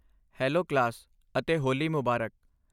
Hello class, ਅਤੇ ਹੋਲੀ ਮੁਬਾਰਕ!